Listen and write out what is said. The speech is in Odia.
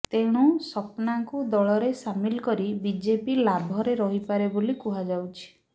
ତେଣୁ ସପନାଙ୍କୁ ଦଳରେ ସାମିଲ କରି ବିଜେପି ଲାଭରେ ରହିପାରେ ବୋଲି କୁହାଯାଉଛି